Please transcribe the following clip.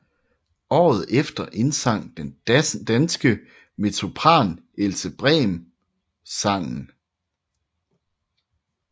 Året efter indsang den danske mezzosopran Else Brems sangen